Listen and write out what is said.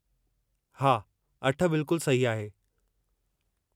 हा, अठ बिल्कुलु सही आहे।